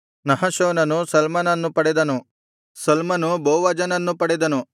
ನಹಶೋನನು ಸಲ್ಮನನ್ನು ಪಡೆದನು ಸಲ್ಮನು ಬೋವಜನನ್ನು ಪಡೆದನು